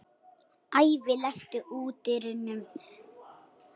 Ævi, læstu útidyrunum.